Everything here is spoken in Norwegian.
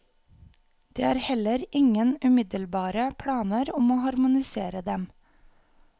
Det er heller ingen umiddelbare planer om å harmonisere dem.